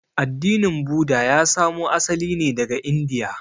Addinin Buda ya samo asali ne daga Indiya.